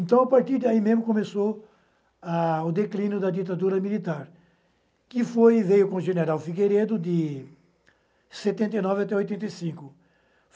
Então, a partir daí mesmo, começou a o declínio da ditadura militar, que foi veio com o general Figueiredo de setenta e nove até oitenta e cinco.